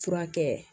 Furakɛ